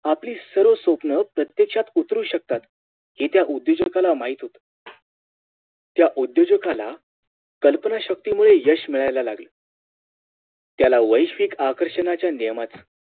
आपली सर्व स्वप्न प्रत्येक्षात उतरू शकतात हे त्या उध्योजागला माहित होत त्या उद्योजगला कल्पना शक्तीमुळे यश मिळाला लागल त्या वैश्विक आकर्षणाच्या नियमांचा